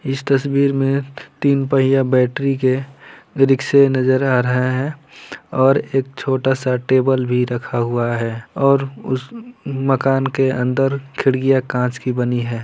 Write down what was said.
इस तस्वीर में तीन पहिया बैट्री के रिक्शे नजर आ रहे हैं और एक छोटा-सा टेबल भी रखा हुआ है और मकान के अंदर खिड़किया कांच की बनी है।